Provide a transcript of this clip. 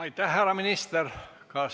Aitäh, härra minister!